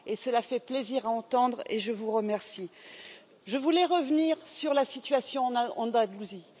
cela fait plaisir à entendre et je vous en remercie. Je voulais revenir sur la situation en Andalousie.